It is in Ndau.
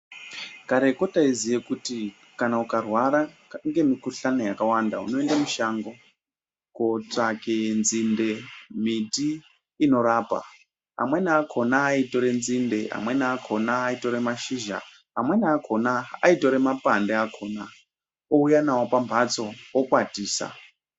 Kareko taiziya kuti kana ukarwara nemukuhlani yakawanda unoende mushango kutsvake nzinde miti inorapa amweni akona aitore nzinde amweni akona aitora mashizha amweni akona aitore mapande akona ouya nayo pambatso ikwatisa